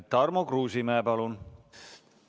Tarmo Kruusimäe, palun!